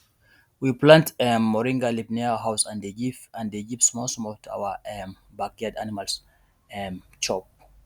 we plant um moringa leaf near house and dey give and dey give smallsmall to our um backyard animals um chop